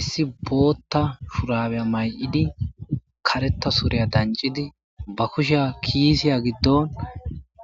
Issi bota shurabey may'idi kareta suriya dancidi ba kushey kisiya gidon